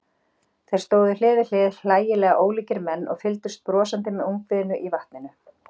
Þeir stóðu hlið við hlið, hlægilega ólíkir menn, og fylgdust brosandi með ungviðinu í vatninu.